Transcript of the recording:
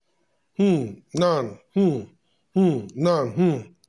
um nan um um nan um